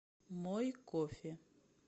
мой кофе